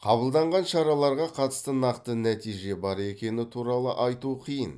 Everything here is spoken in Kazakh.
қабылданған шараларға қатысты нақты нәтиже бар екені туралы айту қиын